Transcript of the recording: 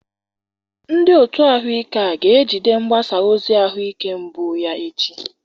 Ndị otu ahụike a ga-ejide mgbasa ozi ahụike mbụ ya echi.